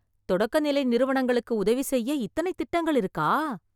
தொடக்கநிலை நிறுவனங்களுக்கு உதவி செய்ய இத்தனை திட்டங்கள் இருக்கா?!